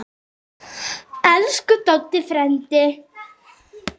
Elsku Doddi frændi.